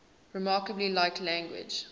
remarkably like language